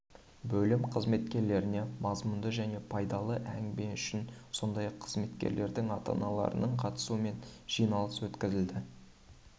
бөлім қызметкерлеріне мазмұнды және пайдалы әңгіме үшін сондай-ақ қызметкерлердің ата-аналарының қатысуымен жиналыс өткізілді